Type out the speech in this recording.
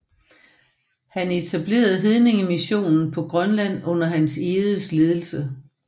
Han etablerede hedningemissionen på Grønland under Hans Egedes ledelse